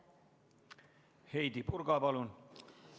Heidy Purga, palun!